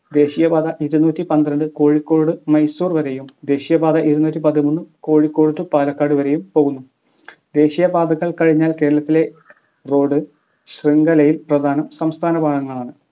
ദേശീയ പാത ഇരുന്നൂറ്റി പന്ത്രണ്ട് കോഴിക്കോട് മൈസൂർ വരെയും ദേശീയപാത ഇരുന്നൂറ്റിപത്തിമൂന്ന് കോഴിക്കോട് to പാലക്കാട് വരെയും പോകുന്നു ദേശീയ പാതകൾ കഴിഞ്ഞാൽ കേരളത്തിലെ road ശൃംഖലയിൽ പ്രധാനം സംസ്ഥാന പാതകളാണ്